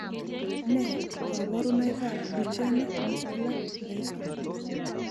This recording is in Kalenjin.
Nee kabarunoikab Duchenne muscular dystrophy?